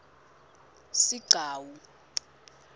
sigcawu